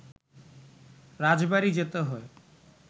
রাজবাড়ি যেতে হয়